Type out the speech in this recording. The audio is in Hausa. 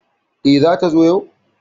E, zata zo yau?